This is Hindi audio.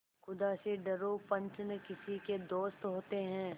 खुदा से डरो पंच न किसी के दोस्त होते हैं